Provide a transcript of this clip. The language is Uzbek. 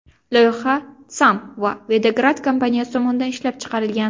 Loyiha Tham & Videgard kompaniyasi tomonidan ishlab chiqilgan.